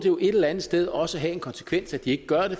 et eller andet sted også have en konsekvens at de ikke gør det